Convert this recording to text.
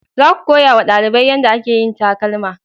Za ku koya ma dalibai yanda a ke yin takalma!